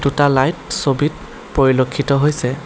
দুটা লাইট ছবিত পৰিলক্ষিত হৈছে।